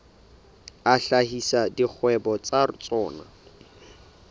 a hlahisa dikgwebo tsa tsona